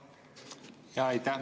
Aitäh!